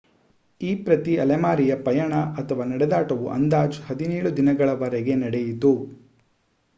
ಈ ಪ್ರತಿ ಅಲೆಮಾರಿಯ ಪಯಣ ಅಥವಾ ನಡೆದಾಟವು ಅಂದಾಜು 17 ದಿನಗಳವರೆಗೆ ನಡೆಯಿತು